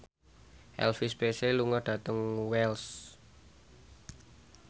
Elvis Presley lunga dhateng Wells